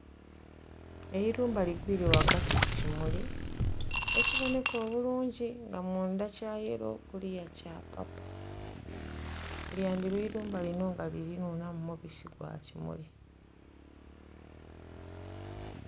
Eirumba ligwiire ghagati kukimuli ekiboneka obulungi nga mundha kya yello kuluya kya paapo lya ndhiba eirumba lino nga linhunha mu mubisi gwa ekimuli.